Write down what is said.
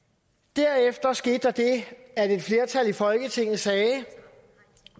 derefter skete der det at et flertal i folketinget sagde